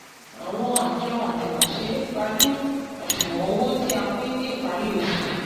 àwọn àjọ àjùmọ̀se pajú àṣùwọ̀n owó tí a pín ní ìparí oṣù